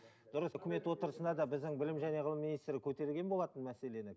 дұрыс өкімет отырысында да біздің білім және ғылым министрлігі көтерген болатын мәселені